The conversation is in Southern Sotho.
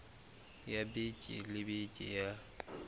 ya beke le beke ya